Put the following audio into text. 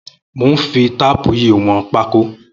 Mó n fi táàpù yi wọn pàkò